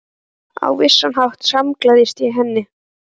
Og á vissan hátt samgleðst ég henni.